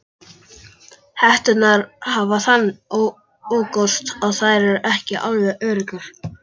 Hetturnar hafa þann ókost að þær eru ekki alveg öruggar.